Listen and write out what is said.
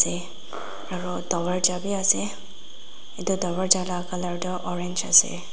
aru dorvaja vi ase etu dorvaja laga colour toh orange asa.